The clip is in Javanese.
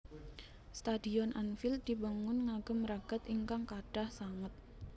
Stadion Anfield dibangun ngagem ragad ingkang kathah sanget